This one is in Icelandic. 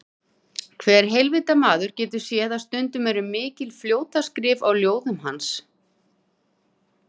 Hver heilvita maður getur séð að stundum er mikil fljótaskrift á ljóðum hans.